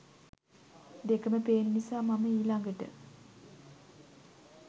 දෙකම පේන නිසා මම ඊලඟට